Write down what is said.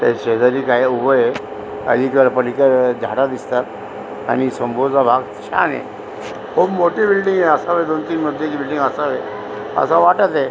त्याच्या शेजारी काही उभ हे अलीकड पलीकडं झाड दिसतात आणि समोरचा भाग छान य खूप मोठी बिल्डींग य असावी दोन तीन मजली बिल्डींग असावी अस वाटत ये.